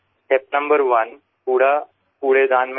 પહેલું પગલું કચરો કચરાપેટીમાં જ નાખો